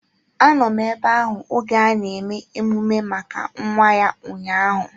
Anọ m ebe ahụ oge ana eme emume maka nwa ya ụnyaahụ